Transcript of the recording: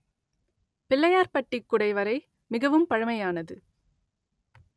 பிள்ளையார்பட்டிக் குடைவரை மிகவும் பழமையானது